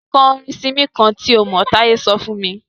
Kọ orin Simí kán tí o mọ̀! Táye sọ fún mí.